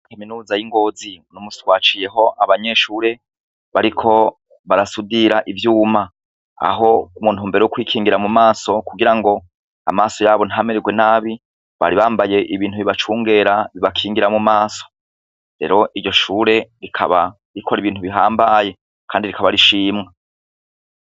Kaminuza y'i Ngozi uno musi twahaciyeho abanyeshure bariko barasudira ivyuma, aho mu ntumbero yo kwikingira mu maso kugira ngo amaso yabo ntamererwe nabi bari bambaye ibintu bibacungera bibakingira mu maso, rero iryo shure rikaba rikora ibintu bihambaye kandi rikaba rishimwa.